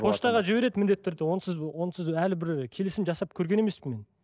поштаға жібереді міндетті түрде онсыз онсыз әлі бір келісім жасап көрген емеспін мен